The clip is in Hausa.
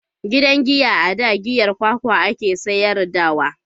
Gidan giya a da giyar kwakwa a ke sayar da wa